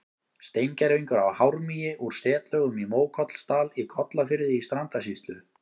Steingervingur af hármýi úr setlögum í Mókollsdal í Kollafirði í Strandasýslu.